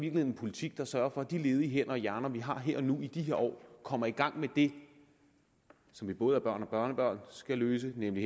en politik der sørger for at de ledige hænder og hjerner vi har her og nu i de her år kommer i gang med det som både børn og børnebørn skal løse nemlig